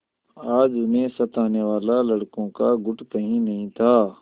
आज उन्हें सताने वाला लड़कों का गुट कहीं नहीं था